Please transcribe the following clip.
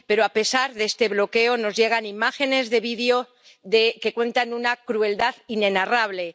Pero, a pesar de este bloqueo, nos llegan imágenes de video que cuentan una crueldad inenarrable.